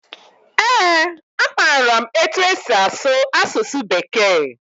Ee, amaara m etu esi asụ asụsụ Bekee.